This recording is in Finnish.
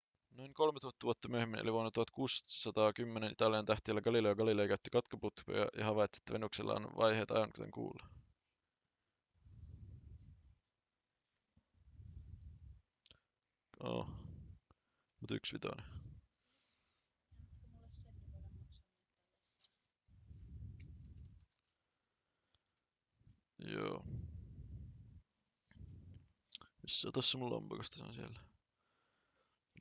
noin kolmetuhatta vuotta myöhemmin eli vuonna 1610 italialainen tähtitieteilijä galileo galilei käytti kaukoputkea ja havaitsi että venuksella on vaiheita aivan kuten kuulla